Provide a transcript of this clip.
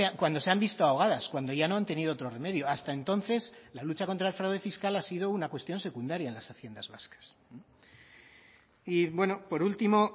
cuando se han visto ahogadas cuando ya no han tenido otro remedio hasta entonces la lucha contra el fraude fiscal ha sido una cuestión secundaria en las haciendas vascas y bueno por último